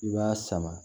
I b'a sama